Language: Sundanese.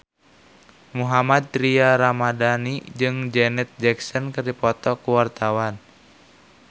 Mohammad Tria Ramadhani jeung Janet Jackson keur dipoto ku wartawan